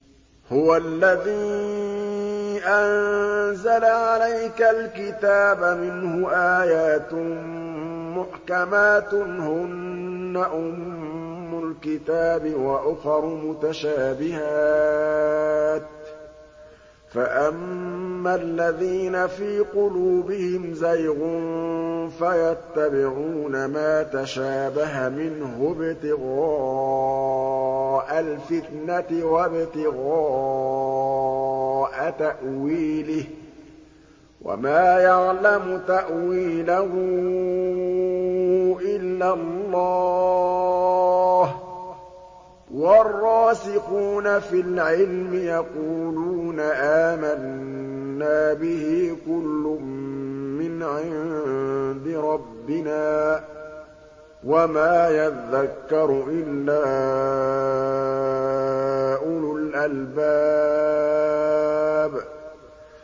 هُوَ الَّذِي أَنزَلَ عَلَيْكَ الْكِتَابَ مِنْهُ آيَاتٌ مُّحْكَمَاتٌ هُنَّ أُمُّ الْكِتَابِ وَأُخَرُ مُتَشَابِهَاتٌ ۖ فَأَمَّا الَّذِينَ فِي قُلُوبِهِمْ زَيْغٌ فَيَتَّبِعُونَ مَا تَشَابَهَ مِنْهُ ابْتِغَاءَ الْفِتْنَةِ وَابْتِغَاءَ تَأْوِيلِهِ ۗ وَمَا يَعْلَمُ تَأْوِيلَهُ إِلَّا اللَّهُ ۗ وَالرَّاسِخُونَ فِي الْعِلْمِ يَقُولُونَ آمَنَّا بِهِ كُلٌّ مِّنْ عِندِ رَبِّنَا ۗ وَمَا يَذَّكَّرُ إِلَّا أُولُو الْأَلْبَابِ